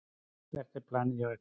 Hvert er planið hjá ykkur?